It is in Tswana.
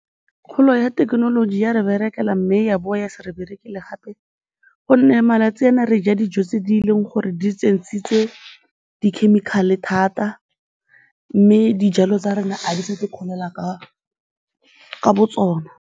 Kgolo ya thekenoloji e a re berekela mme ya boa ya se re berekele gape gonne malatsi ana re ja dijo tse di leng gore di tsentshitswe di-chemical-e thata mme dijalo tsa rona ga di sa di kgolela ka botsona.